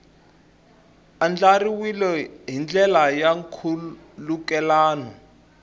andlariwile hi ndlela ya nkhulukelano